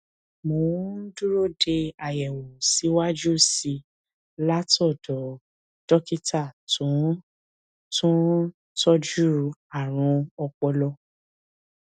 mo ń dúró de àyẹwò síwájú sí i látọdọ dókítà tó ń tó ń tọjú àrùn ọpọlọ